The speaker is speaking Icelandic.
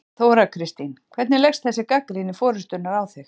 Þóra Kristín: Hvernig leggst þessi gagnrýni forystunnar á þig?